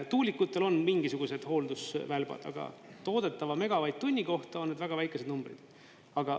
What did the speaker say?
Tuulikutel on mingisugused hooldusvälbad, aga toodetava megavatt-tunni kohta on väga väikesed numbrid.